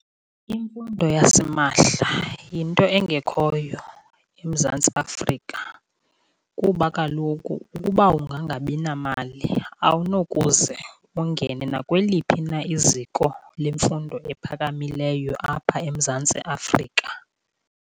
Imfundo yasimahla yinto engekhoyo eMzantsi Afrika kuba kaloku ukuba ungangabi namali awunokuze ungene nakweliphi na iziko lemfundo ephakamileyo apha eMzantsi Afrika.